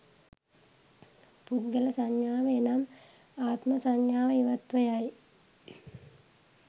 පුද්ගල සංඥාව එනම් ආත්ම සංඥාව ඉවත්ව යයි.